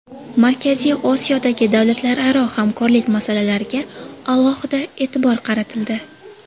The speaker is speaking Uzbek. Markaziy Osiyodagi davlatlararo hamkorlik masalalariga alohida e’tibor qaratildi.